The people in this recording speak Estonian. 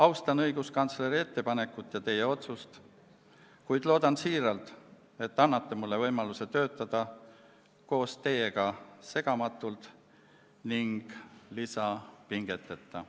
Austan õiguskantsleri ettepanekut ja teie otsust, kuid loodan, et annate mulle võimaluse töötada koos teiega segamatult ning lisapingeteta.